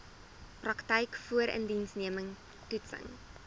praktyk voorindiensneming toetsing